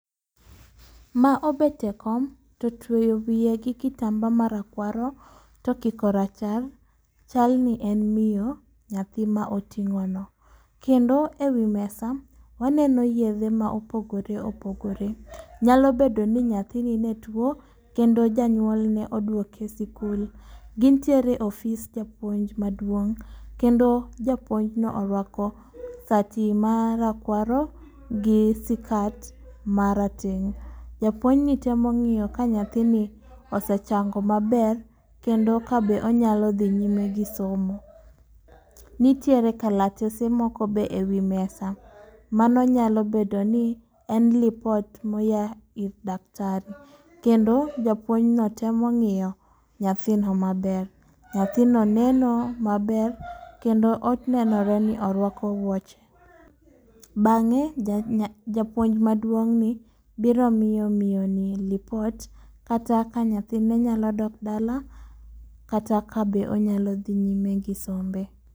Ma obet e kom, to tweyo wiye gi kitamba marakwaro, to kiko rachar, chal ni en mio nyathi ma oting'o no. Kendo e wi mesa, waneno yedhe ma opogore opogore. Nyalo bedo ni nyathini ne tuwo, kendo janyuolne oduoke esikul. Gintiere e ofis japuonj maduong'. Kendo japuonjno orwako sati marakwaro gi sikat marateng'. Japuonjni temo ng'iyo ka nyathini osechango maber, kendo kabe onyalo dhi nyime gi somo. Nitiere kalatese moko be e wi mesa. Mano nyalo bedo ni, en lipot moyaa ir daktari. kendo japuonjno temo ng'iyo nyathino maber. Nyathino neno maber, kendo onenore ni orwako wuoche. Bang'e japuonj maduong'ni biro miyo mio ni lipot, kata ka nyathine nyalo dok dala kata ka be onyalo dhi nyime gi sombe.